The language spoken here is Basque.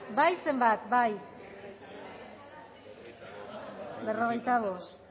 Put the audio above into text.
bozka berrogeita bost